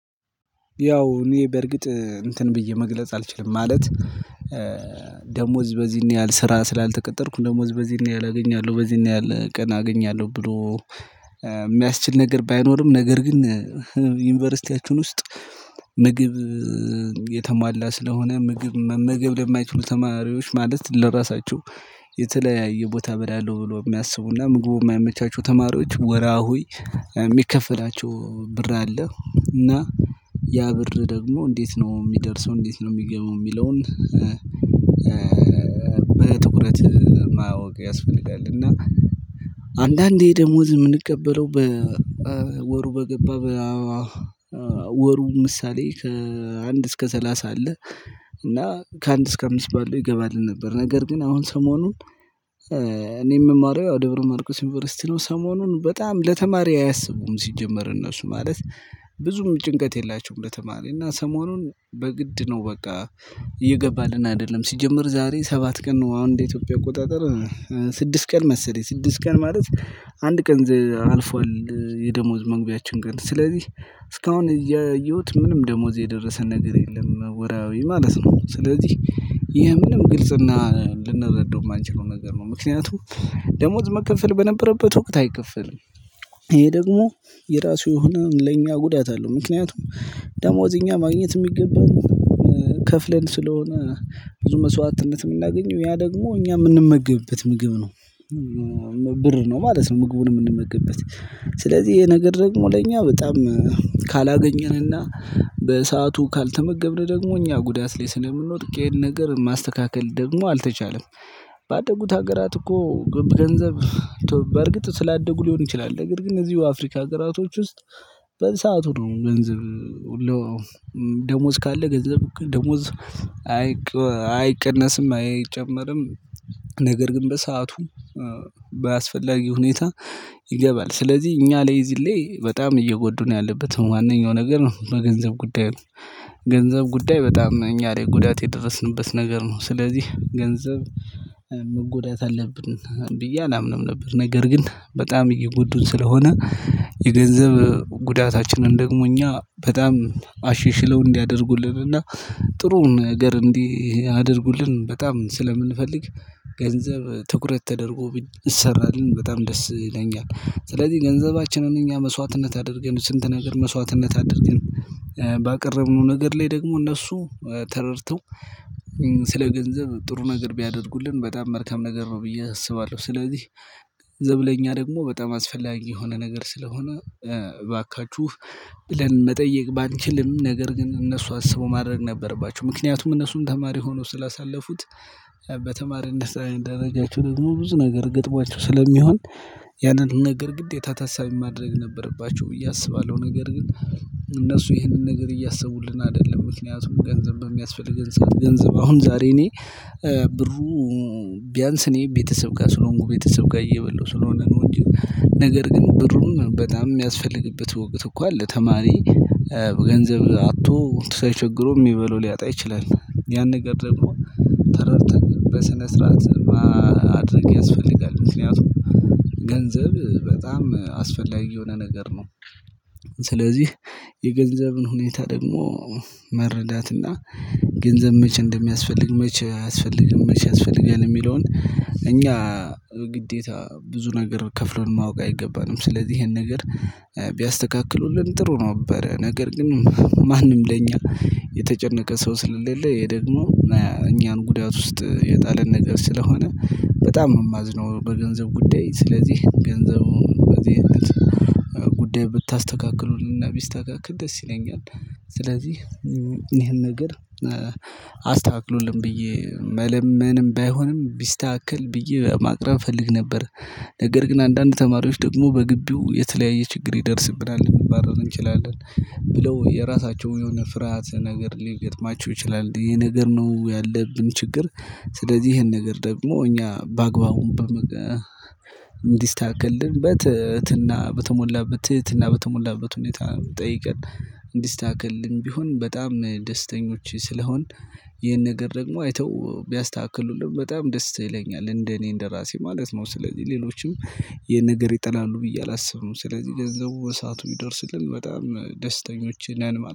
ያው እኔ በርግጥ እንትን ብዬ መግለጽ አልችልም ማለት። ደሞዝ በዚህ ነው ያህል ስራ ስላልተቀጠርኩ ደሞዝ በዚህ ነው ያህል አገኛለሁ በዚህ ነው ያህል ቀን አገኛለሁ ብሎ። የሚያስችል ነገር ባይኖርም ነገር ግን ዩኒቨርሲቲያችን ውስጥ ምግብ የተሟላ ስለሆነ ምግብ መመገብ ለማይችሉ ተማሪዎች ማለት ለራሳቸው የተለያየ ቦታ እበላለሁ ብሎ ሚያስቡ ና ምግቡ ማይመቻቸው ተማሪዎች ወራሐዊ ሚከፈላቸው ብር አለ። እና ያ ብር ደግሞ እንዴት ነው ሚደርሰው እንዴት ነው ሚገባው ሚለውን? በትኩረት ማወቅ ያስፈልጋል። እና አንዳንዴ ደሞዝ ምንቀበለው ወሩ በገባ ወሩ ምሳሌ ከአንድ እስከ ሰላሳ አለ። እና ከአንድ እስከ አምስት ባለው ይገባልን ነበር? ነገር ግን አሁን ሰሞኑን እኔ ምማረው ያው ደብረ ማርኮስ ዩኒቨርሲቲ ነው ሰሞኑን በጣም ለተማሪ አያሰቡም ሲጀመር እነሱ ማለት ብዙም ጭንቀት የላቸውም። ለተማሪ እና ሰሞኑን በግድ ነው በቃ እየገባልን አይደለም ሲጀመር ዛሬ ሰባት ቀን ነው። አሁን እንደ ኢትዮጵያ አቆጣጠር ስድስት ቀን መሰለኝ ስድስት ቀን ማለት አንድ ቀን አልፏል። የደሞዝ መግቢያችን ግን ስለዚህ እስካሁን እያየሁት ምንም ደሞወዝ የደረሰ ነገር የለም ወራሐዊ ማለት ነው። ስለዚህ ይሄ ምንም ግልጽና ልንረዳው የማንችለው ነገር ነው። ምክንያቱም ደሞወዝ መከፈል በነበረበት ወቅት አይከፈልም። ይሄ ደግሞ የራሱ የሆነ ለእኛ ጉዳት አለው። ምክንያቱም ደሞዝ እኛ ማግኘት ሚገባን ከፍለን ስለሆነ ብዙ መስዋዕትነት ምናገኘው ያ ደግሞ እኛ ምንመገብበት ምግብ ነው። ብር ነው ማለት ነው። ምግቡን ምንመገብበት ስለዚህ ይሄ ነገር ደግሞ ለእኛ በጣም ካላገኘን እና በሰአቱ ካልተመገብን ደግሞ እኛ ጉዳት ላይ ስለምንወድቅ ይሄን ነገር ማስተካከል ደግሞ አልተቻለም። ባደጉት ሀገራት እኮ ግብ ገንዘብ በእርግጥ ስላደጉ ሊሆን ይችላል። ነገር ግን እነዚሁ አፍሪካ ሀገራቶች ውስጥ በሰአቱ ነው ገንዝብ። ደሞወዝ ካለ ገንዘብ ደሞወዝ አይቀነስም አይጨመርም። ነገር ግን በሰአቱ በአስፈላጊ ሁኔታ ይገባል። ስለዚህ እኛ ላይ እዚ ላይ በጣም እየጎዱን ነው ያለበት ዋነኛው ነገር ነው። በገንዘብ ጉዳይ ገንዘብ ጉዳይ በጣም እኛ ላይ ጉዳት የደረስንበት ነገር ነው። ስለዚህ ገንዘብ መጎዳት አለብን ብዬ አላምንም ነበር። ነገር ግን በጣም እየጎዱን ስለሆነ የገንዘብ ጉዳታችንን ደግሞ እኛ በጣም አሸሽለው እንዲያደርጉልን እና ጥሩ ነገር እንዲያደርጉልን በጣም ስለምንፈልግ ገንዘብ ትኩረት ተደርጎ ቢሰራልን በጣም ደስ ይለኛል። ስለዚህ ገንዘባችንን እኛ መስዋዕትነት አድርገን ስንት ነገር መስዋዕትነት አድርገን ባቀረብነው ነገር ላይ ደግሞ እነሱ ተረድተው ገንዘብ ጥሩ ነገር ቢያደርጉልን በጣም መልካም ነገር ነው ብዬ አስባለሁ። ስለዚህ ገንዘብ ለኛ ደግሞ በጣም አስፈላጊ የሆነ ነገር ስለሆነ እባካችሁ ብለን መጠየቅ ባንችልም ነገር ግን እነሱ አስበው ማድረግ ነበረባቸው። ምክንያቱም እነሱም ተማሪ ሆኖው ስላሳለፉት በተማሪነት ደረጃቸው ደግሞ ብዙ ነገር ገጥሟቸው ስለሚሆን ያንን ነገር ግዴታ ታሳቢ ማድረግ ነበረባችሁ ብዬ አስባለሁ። ነገር ግን እነሱ ይህንን ነገር እያሰቡልን አደለም ምክንያቱም ገንዘብ በሚያስፈልገን ሰዓት ገንዘብ አሁን ዛሬ እኔ ብሩ ቢያንስ እኔ ቤተሰብ ጋር ስለሆንኩ ቤተሰብ ጋር እየበላሁ ስለሆነ ነው። እንጂ ነገር ግን ብሩም በጣም ሚያስፈልግበት ወቅት እኮ አለ። ተማሪ ገንዘብ አጥቶ እንትን ሳይቸግረው ሚበላው ሊያጣ ይችላል። ያን ነገር ደግሞ ተረድተን በስነ ስርዓት ያስፈልጋል። ምክንያቱም ገንዘብ በጣም አስፈላጊ የሆነ ነገር ነው። ስለዚህ የገንዘብን ሁኔታ ደግሞ መረዳትና ገንዘብ መቼ እንደሚያስፈልግ መች አያስፈልግም መች ያስፈልጋል የሚለውን እኛ ግዴታ ብዙ ነገር ከፍሎን ማወቅ አይገባንም። ስለዚህ ይሄን ነገር ቢያስተካክሉልን ጥሩ ነበረ። ነገር ግን ማንም ለኛ የተጨነቀ ሰው ስለሌለ ይሄ ደግሞ እኛን ጉዳት ውስጥ የጣለን ነገር ስለሆነ በጣም ነው የማዝነው። በገንዘብ ጉዳይ ስለዚህ ገንዘቡን በዚህ አይነት ጉዳይ ብታስተካክሉልና ቢስተካክል ደስ ይለኛል። ስለዚህ ይሄን ነገር አስተካክሉልን ብዬ መለመንም ባይሆንም ቢስተካክል ብዬ ማቅረብ እፈልግ ነበር። ነገር ግን አንዳንድ ተማሪዎች ደግሞ በግቢው የተለያየ ችግር ይደርስብናል ልንባረር እንችላለን። ብለው የራሳቸውን የሆነ ፍርሃት ነገር ሊገጥማቸው ይችላል ይሄ ነገር ነው ያለብን ችግር። ስለዚህ ይሄን ነገር ደግሞ እኛ በአግባቡም እንዲስተካክልልን በትህትና በተሞላበት ትህትና በተሞላበት ሁኔታ ጠይቀን እንዲስተካከልን ቢሆን በጣም ደስተኞች ስለሆን። ይሄን ነገር ደግሞ አይተው ቢያስተካክሉልን በጣም ደስ ይለኛል እንደ እኔ እንደ ራሴ ማለት ነው። ስለዚህ ሌሎችም ይሄን ነገር ይጠላሉ ብዬ አላስብም። ስለዚህ ገንዘቡ በሰአቱ ቢደርስልን በጣም ደስተኞች ነን